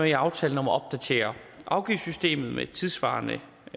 i aftalen om at opdatere afgiftssystemet med tidssvarende